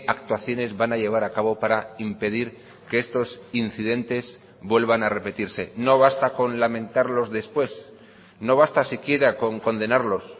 actuaciones van a llevar a cabo para impedir que estos incidentes vuelvan a repetirse no basta con lamentarlos después no basta siquiera con condenarlos